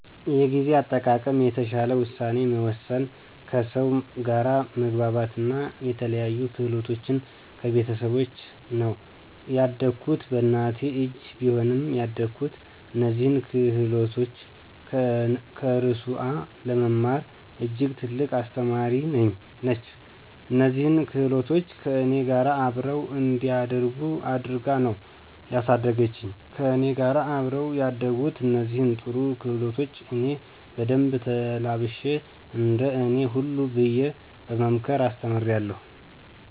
የጊዜ አጠቃቀም፣ የተሻለ ውሳኔ መወሰን፣ ከሰው ጋር መግባባት አና የተለያዩ ክህሎቶችን ከቤተሰቦቸ ነው። ያደኩት በእናቴ እጅ ቢሆንም ያደኩት እነዚህን ክህሎቶች ከእርሱአ ለመማር እጅግ ትልቅ አስተማሪ ነች። እነዚህን ክህሎቶች ከእኔ ጋር አብረው እንዲያድጉ አድርጋ ነው ያሳደገችኝ። ከእኔ ጋር አብረው ያደጉትን እነዚህን ጥሩ ክህሎቶች እኔ በደንብ ተላብሼ እንደ እኔ ሁኑ ብየ በመምከር አስተምራለሁ።